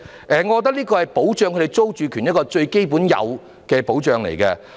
我覺得這是對他們的租住權最基本的應有保障。